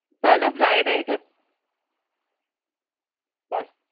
ইচ্ছা নেই, বাবা চিলি চিকেন হোক বা কষা মাংস